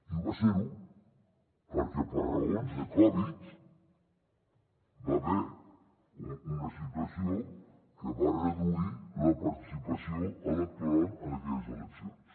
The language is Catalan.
i va ser ho perquè per raons de covid va haver hi una situació que va reduir la participació electoral en aquelles eleccions